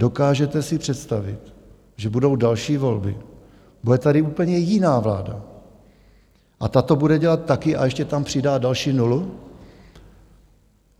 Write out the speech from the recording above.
Dokážete si představit, že budou další volby, bude tady úplně jiná vláda a ta to bude dělat taky a ještě tam přidá další nulu?